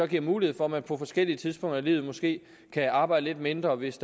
giver mulighed for at man på forskellige tidspunkter i livet måske kan arbejde lidt mindre hvis